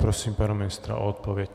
Prosím pana ministra o odpověď.